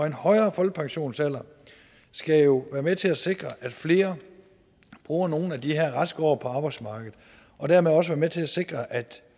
en højere folkepensionsalder skal jo være med til at sikre at flere bruger nogle af de her raske år på arbejdsmarkedet og dermed også være med til at sikre at